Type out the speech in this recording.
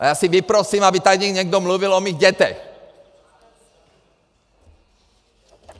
A já si vyprosím, aby tady někdo mluvil o mých dětech!